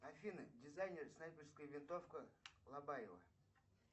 афина дизайнер снайперская винтовка лобаева